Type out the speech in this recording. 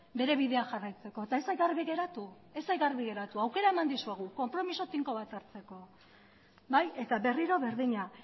bere bidea jarraitzeko eta ez zait garbi geratu aukera eman dizuegu konpromezu tinko bat hartzeko eta berriro berdina